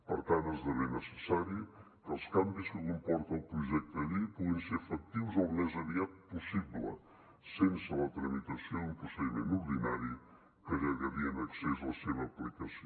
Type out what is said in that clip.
per tant esdevé necessari que els canvis que comporta el projecte de llei puguin ser efectius al més aviat possible sense la tramitació d’un procediment ordinari que allargaria en excés la seva aplicació